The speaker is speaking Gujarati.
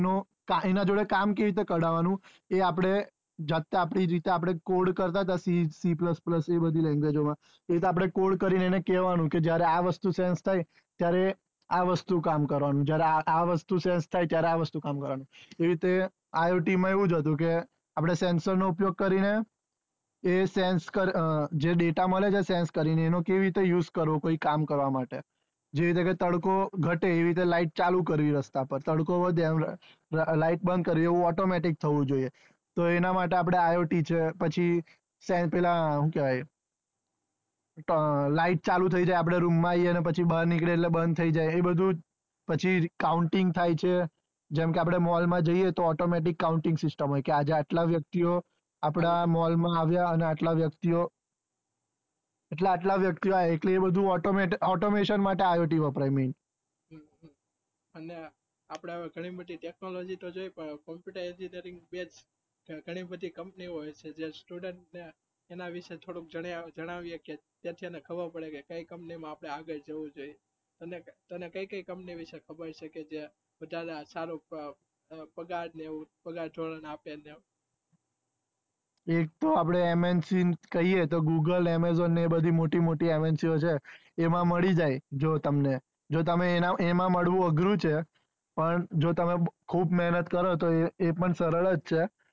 એક તો આપણે MNC કહીયે તો google amazon ને બધી મોટી મોટી MNC છે એમાં મળી જાય જો તમને જો તમને એમા મળવું અઘરું છે પણ જો તમે ખુબ મહેનત કરો તો એ પણ સરળ જ છે